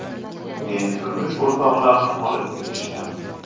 Keyin turmush o‘rtoqlarini olib kelishgan.